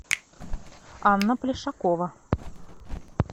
анна плешакова